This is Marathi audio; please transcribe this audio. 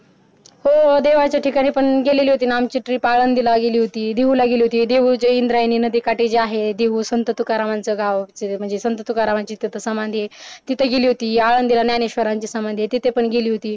हो देवाच्या ठिकाणी पण गेलेली होतीना आम्हची ट्रिप आळंदीला गेली होती देहूला गेली होती देहूच्या इंद्रायणी नदीकाठी जे आहे देहू संत तुकारामाचा गाव म्हणजे संत तुकारामाची तिथं समाधी आहे तिथं गेली होती आळंदीला ज्ञानेश्वरांची समाधी आहे तिथं पण गेली होती